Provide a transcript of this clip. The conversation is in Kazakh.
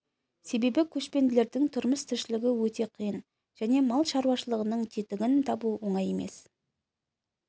себебі көшпенділердің тұрмыс-тіршілігі өте қиын және мал шаруашылығының тетігін табу оңай емес